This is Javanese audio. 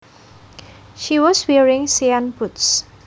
She was wearing cyan boots